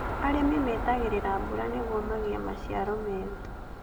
Arĩmi metagĩrĩra mbura nĩguo magĩe maciaro meega